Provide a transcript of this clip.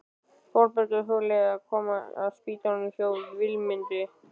Þórbergur hugleiðir að koma að á spítalanum hjá Vilmundi.